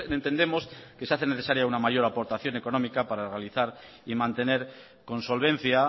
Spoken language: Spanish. entendemos que se hace necesaria una mayor aportación económica para realizar y mantener con solvencia